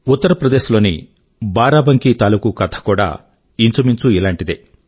ఉత్తర్ ప్రదేశ్ లోని బారాబంకీ తాలూకూ కథ కూడా ఇంచుమించు ఇలాంటిదే